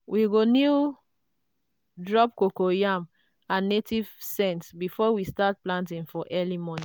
we go kneel drop coco yam and native scent before we start planting for early morning.